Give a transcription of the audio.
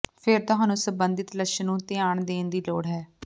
ਫਿਰ ਤੁਹਾਨੂੰ ਸਬੰਧਿਤ ਲੱਛਣ ਨੂੰ ਧਿਆਨ ਦੇਣ ਦੀ ਲੋੜ ਹੈ